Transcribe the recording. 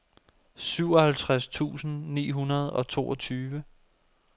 syvoghalvtreds tusind ni hundrede og toogtyve